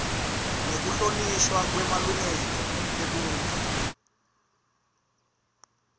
nekuhlonishwa kwemalungelo eluntfu